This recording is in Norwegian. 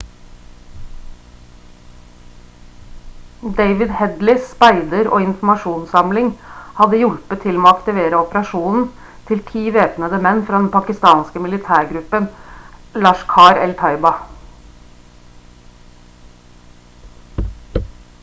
david headleys speider- og informasjonssamling hadde hjulpet til med å aktivere operasjonen til ti væpnede menn fra den pakistanske militærgruppen laskhar-e-taiba